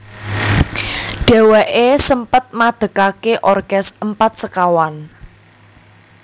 Dhéwéké sempet madekaké orkes Empat Sekawan